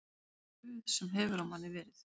Puð sem hefur á manni verið